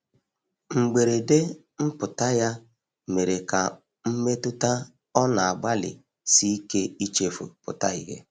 mgberede mputa ya mere ka mmetụta ọ na agbali sike ichefu pụta ihe